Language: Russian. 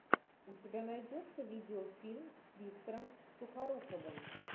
у тебя найдется видео фильм с виктором сухоруковым